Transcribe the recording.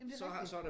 Jamen det er rigtigt